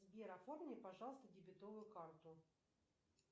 сбер оформи пожалуйста дебетовую карту